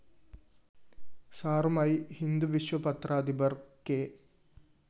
സാറുമായി ഹിന്ദുവിശ്വ പത്രാധിപര്‍ കെ